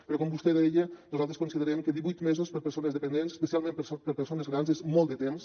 però com vostè deia nosaltres considerem que divuit mesos per a persones dependents especialment per a persones grans és molt de temps